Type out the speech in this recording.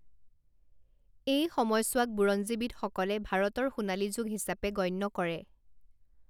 এই সময়ছোৱাক বুৰঞ্জীবিদসকলে ভাৰতৰ সোণালী যুগ হিচাপে গণ্য কৰে।